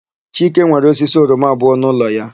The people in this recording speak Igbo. Chike nwere osisi oroma abụọ n'ụlọ ya.